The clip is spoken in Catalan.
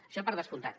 això per descomptat